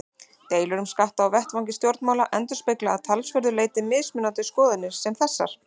Deilur um skatta á vettvangi stjórnmála endurspegla að talsverðu leyti mismunandi skoðanir sem þessar.